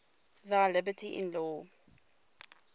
thy liberty in law